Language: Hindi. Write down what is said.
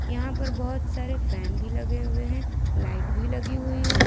यहां पर बहुत सारे फैन भी लगे हुए हैं लाइट भी लगी हुई है।